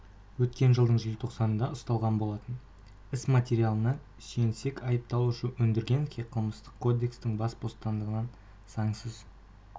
өткен жылдың желтоқсанында ұсталған болатын іс материалдарына сүйенсек айыпталушы өндіргеновке қылмыстық кодекстің бас бостандығынан заңсыз